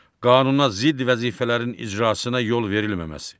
Qanuna zidd vəzifələrin icrasına yol verilməməsi.